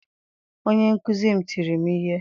Onye nkuzi m tiri m ihe.